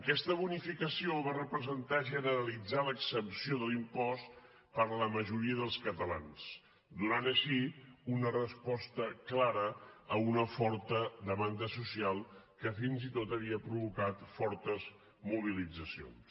aquesta bonificació va representar generalitzar l’exempció de l’impost per la majoria dels catalans i donava així una resposta clara a una forta demanda social que fins i tot havia provocat fortes mobilitzacions